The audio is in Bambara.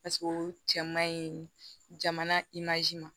o cɛ man ɲi jamana